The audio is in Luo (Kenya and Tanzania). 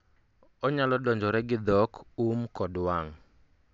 onyalo donjore gi dhok, um kod wang'